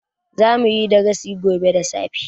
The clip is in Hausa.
Zamu yi darasi gobe da safe.